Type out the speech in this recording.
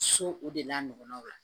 So o de la ɲɔgɔnnaw la